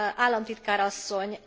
Államtitkár asszony!